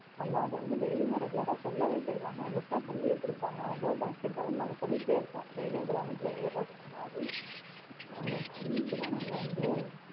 ஆமா அவ வந்து daily யுமே regular ரா சொல்லவே செய்வாங்க எங்களுக்கு எல்லாம் சொல்லியே குடுப்பாங்க I love basket ball னு நாங்க சொல்லிட்டே இருப்போம். daily யும் ground ல ஏறுறதுக்கு முன்னாடி அத சொல்லிட்டு தான் நாங்க வந்து